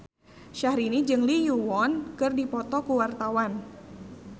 Syahrini jeung Lee Yo Won keur dipoto ku wartawan